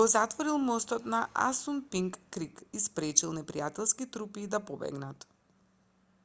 го затворил мостот над асунпинк крик и спречил непријателските трупи да побегнат